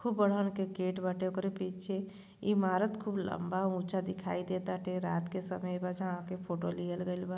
खूब बड़हन के गेट बाटे ओकरे पीछे ईमारत खूब लंबा ऊंचा दिखाई दे ताटे। रात के समय बा जहां के फोटो लिहल गइल बा।